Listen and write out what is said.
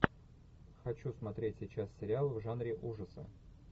хочу смотреть сейчас сериал в жанре ужасы